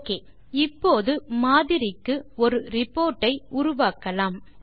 okay இப்போது மாதிரிக்கு ஒரு ரிப்போர்ட் ஐ உருவாக்கலாம்